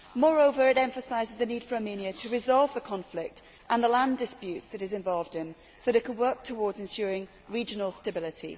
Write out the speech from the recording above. Moreover it emphasises the need for Armenia to resolve the conflict and the land disputes that it is involved in so that it can work towards ensuring regional stability.